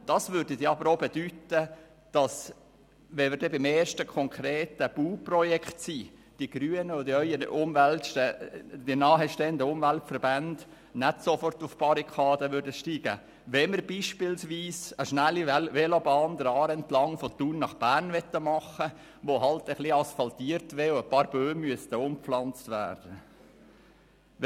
Das würde dann auch bedeuten, dass die Grünen und ihnen nahestehende Umweltverbände nicht sofort auf die Barrikaden steigen würden, wenn wir beim ersten konkreten Bauprojekt sind und beispielsweise der Aare entlang von Thun nach Bern eine schnelle Velobahn machen möchten, die etwas asphaltiert wäre und wo einige Bäume umgepflanzt werden müssten.